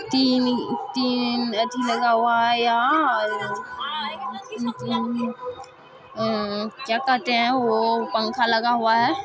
तीन-तीन अथी लगा हुआ है यहां और क्या कहते है वो पंखा लगा हुआ है।